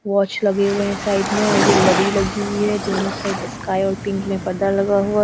Watch लगे हुए हैं साइड में और ये लड़ी लगी हुई है। दोनों साइड स्काई और पिंक में पर्दा लगा हुआ --